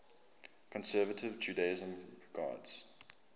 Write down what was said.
conservative judaism regards